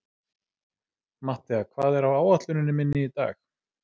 Mattea, hvað er á áætluninni minni í dag?